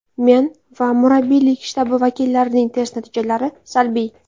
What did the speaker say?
Men va murabbiylik shtabi vakillarining test natijalari salbiy.